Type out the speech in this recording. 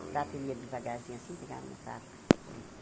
O prato ele ia devagarzinho assim, pegava no prato e comia.